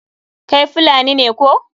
Kai Fulani ne koh?